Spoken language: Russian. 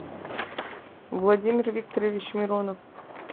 владимир викторович миронов